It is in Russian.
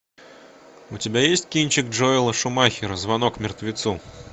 у тебя есть кинчик джоэла шумахера звонок мертвецу